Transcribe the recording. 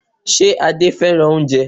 Ṣe Adé fẹ́ràn oúnjẹ?